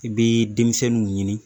I bɛ denmisɛnninw ɲini